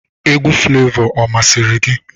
Egwu Flevọ ọ masịrị gị?